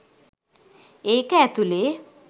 ඒක ඇතුලේ